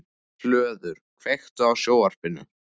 Hlöður, kveiktu á sjónvarpinu.